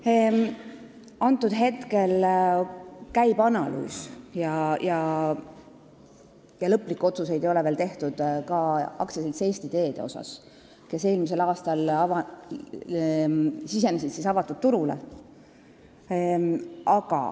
Praegu käib analüüs, lõplikke otsuseid ei ole veel tehtud, seda ka AS-i Eesti Teed osas, kes eelmisel aastal sisenes avatud turule.